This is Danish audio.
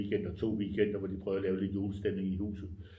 Weekender 2 weekender hvor de prøvede at lave lidt julestemning i huset